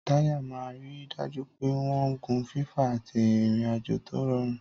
Táyà máa ń rí i dájú pé wọ́n ń gun fífà àti ìrìn-àjò tó rọrùn.